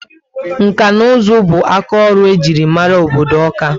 Nka na uzu bu aka ọrụ ejiri mara obodo Ọka ( Awka)